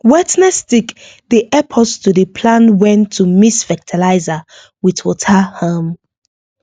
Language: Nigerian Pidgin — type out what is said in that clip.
wetness stick dey help us to dey plan wen to mix fertiliser with water um